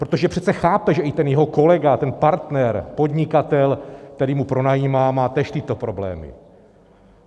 Protože přece chápe, že i ten jeho kolega, ten partner, podnikatel, který mu pronajímá, má též tyto problémy.